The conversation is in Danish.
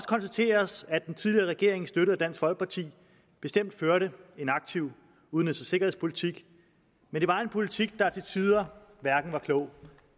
konstateres at den tidligere regering støttet af dansk folkeparti bestemt førte en aktiv udenrigs og sikkerhedspolitik men det var en politik der til tider hverken var klog